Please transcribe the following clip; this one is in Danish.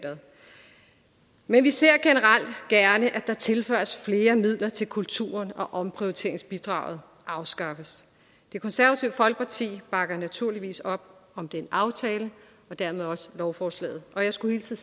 men vi ser generelt gerne at der tilføjes flere midler til kulturen og at omprioriteringsbidraget afskaffes det konservative folkeparti bakker naturligvis op om den aftale og dermed også lovforslaget og jeg skulle hilse